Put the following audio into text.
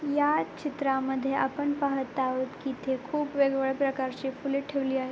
या चित्रामध्ये आपण पाहत आहोत की इथे खूप वेगवेगळ्या प्रकारची फुले ठेवली आहेत.